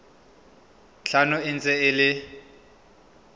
tlhano e ntse e le